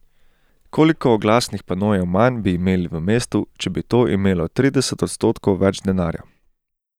Koliko oglasnih panojev manj bi imeli v mestu, če bi to imelo trideset odstotkov več denarja?